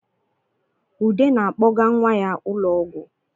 Ude na-akpọga nwa ya ụlọ ọgwụ